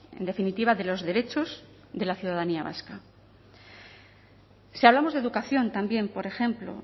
en definitiva de los derechos de la ciudadanía vasca si hablamos de educación también por ejemplo